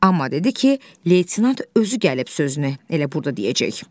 Amma dedi ki, Leytenant özü gəlib sözünü elə burda deyəcək.